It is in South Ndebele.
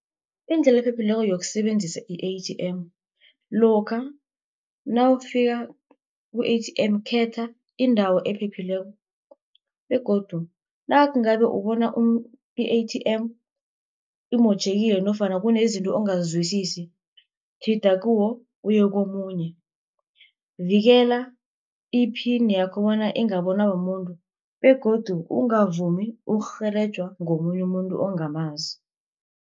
Indlela ephephileko yokusebenzisa i-A_T_M, lokha nawufika ku-A_T_M, khetha indawo ephephileko, begodu nangabe ubona i-A_T_M, imotjhekile nofana kunezinto ongazizwisisi, tjhida kuwo uye komunye. Vikela iphini yakho bona ingabonwa mumuntu, begodu ungavumi ukurhelejwa ngomunye umuntu ongamazi.